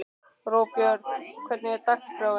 Róbjörg, hvernig er dagskráin?